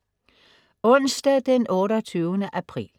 Onsdag den 28. april